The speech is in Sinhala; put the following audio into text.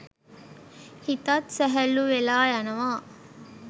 හිතත් සැහැල්ලු වෙලා යනවා.